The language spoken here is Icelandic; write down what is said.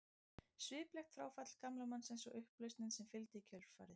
Sviplegt fráfall gamla mannsins og upplausnin sem fylgdi í kjölfarið.